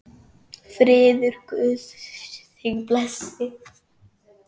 Friður Guðs þig blessi.